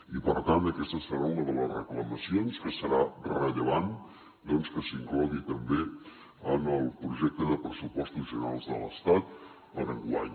i per tant aquesta serà una de les reclamacions que serà rellevant doncs que s’inclogui també en el projecte de pressupostos generals de l’estat per enguany